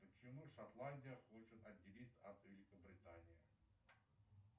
почему шотландия хочет отделиться от великобритании